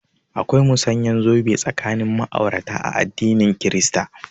Akwai musanyan zobe tsakanin ma'aurata a addinin kirista